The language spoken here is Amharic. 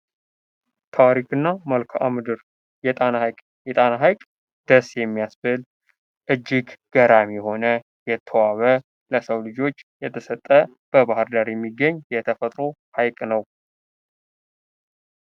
ታሪክ እና መልካ-ምድር የጣና ሀይቅ፦ ደስ የሚያስበል፤ እጅግ ገራሚ የሆነ የተዋበ ለሰው ልጆች የተሰጠ በባህር ዳር የሚገኝ የተፈጥሮ ሀይቅ ነው።